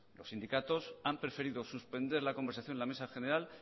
los sindicatos han preferido suspender la conversación en la mesa general